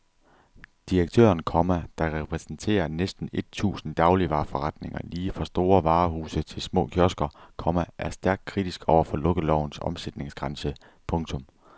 Direktøren, komma der repræsenterer næsten et tusind dagligvareforretninger lige fra store varehuse til små kiosker, komma er stærkt kritisk over for lukkelovens omsætningsgrænse. punktum